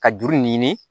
Ka juru ɲini